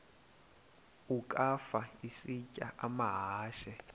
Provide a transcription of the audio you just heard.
ukafa isitya amahashe